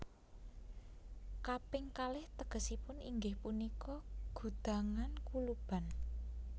Kaping kalih tegesipun inggih punika gudhangan kuluban